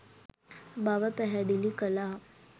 බව පැහැදිලි කළා.